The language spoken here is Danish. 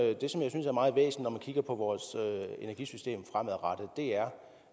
kigger på vores energisystem fremadrettet er